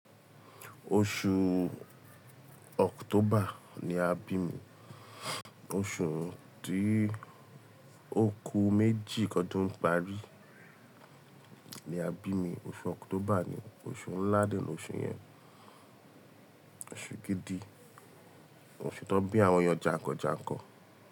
Oṣù October ni a bi mi, oṣù tí oku méjì kọdún parí ni a bi mi. Oṣù October ni oṣù ńlá dẹ ni oṣù yẹn, oṣù gidi, oṣù tó n bí àwọn ẹyàn jàǹkàn jàǹkàn.